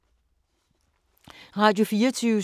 Radio24syv